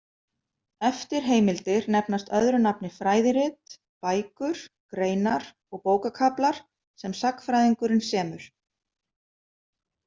Eftirheimildir nefnast öðru nafni fræðirit, bækur, greinar og bókakaflar sem sagnfræðingurinn semur.